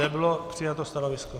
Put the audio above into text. Nebylo přijato stanovisko.